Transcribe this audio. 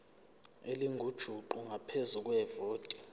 elingujuqu ngaphezu kwevoti